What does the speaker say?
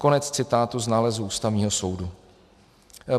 Konec citátu z nálezu Ústavního soudu.